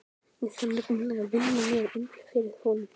Ég þarf nefnilega að vinna mér inn fyrir honum.